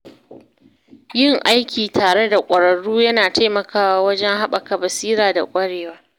Yin aiki tare da ƙwararru yana taimakawa wajen haɓaka basira da ƙwarewa.